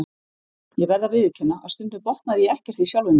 Ég verð að viðurkenna að stundum botnaði ég ekkert í sjálfum mér.